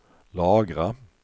lagra